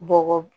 Bɔgɔ